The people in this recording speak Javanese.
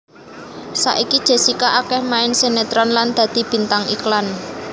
Saiki Jessica akéh main sinetron lan dadi bintang iklan